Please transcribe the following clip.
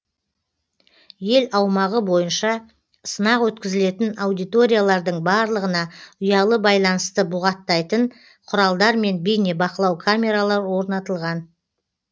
ел аумағы бойынша сынақ өткізілетін аудиториялардың барлығына ұялы байланысты бұғаттайтын құралдар мен бейнебақылау камералары орнатылған